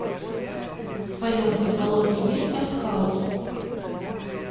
в твоем каталоге есть арт хаус